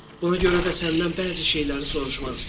Buna görə də səndən bəzi şeyləri soruşmaq istəyirəm.